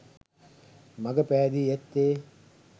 මග පෑදී ඇත්තේ